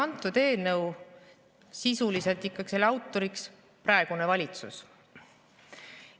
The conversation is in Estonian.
Seega on eelnõu autor sisuliselt ikkagi praegune valitsus.